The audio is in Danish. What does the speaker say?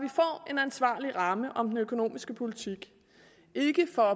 ansvarlig ramme om den økonomiske politik ikke for